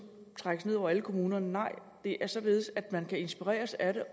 trækkes ned over alle kommunerne nej det er således at man kan inspireres af det